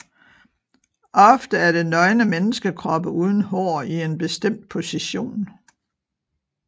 Ofte er det nøgne menneskekroppe uden hår i en bestemt position